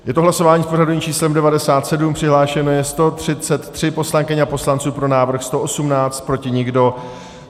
Je to hlasování s pořadovým číslem 97, přihlášeno je 133 poslankyň a poslanců, pro návrh 118, proti nikdo.